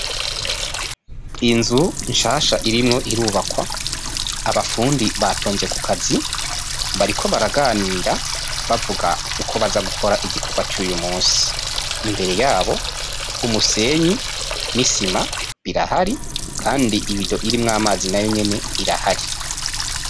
Inzu nshasha irimwo irubakwa abafundi batonze ku kazi bariko baraganira bavuga uko baza gukora igikorwa cuyu munsi imbere ya bo umusenyi n'isima birahari kandi ibido irimwo amazi n'ayo nyene irahari.